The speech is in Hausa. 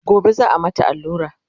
gobe za'a mata allura?